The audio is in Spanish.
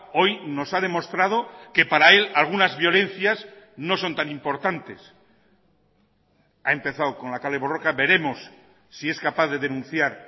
hoy nos ha demostrado que para él algunas violencias no son tan importantes ha empezado con la kale borroka veremos si es capaz de denunciar